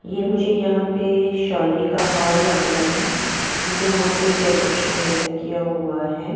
ये मुझे यहां पे शादी का हॉल लग रहा है क्योंकि वहां पे डेकोरेशन वैसा किया हुआ है।